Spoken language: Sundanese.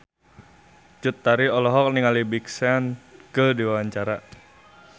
Cut Tari olohok ningali Big Sean keur diwawancara